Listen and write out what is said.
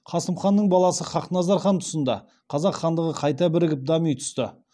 қасым ханның баласы хақназар хан тұсында қазақ хандығы қайта бірігіп дами түсті